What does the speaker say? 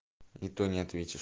и то не ответишь